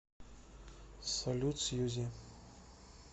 салют сьюзи